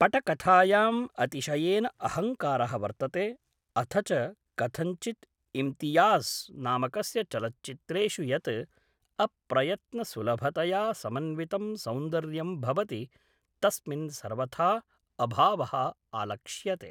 पटकथायाम् अतिशयेन अहङ्कारः वर्तते अथ च कथञ्चित् इम्तियाज़् नामकस्य चलच्चित्रेषु यत् अप्रयत्नसुलभतया समन्वितं सौन्दर्यं भवति तस्मिन् सर्वथा अभावः आलक्ष्यते।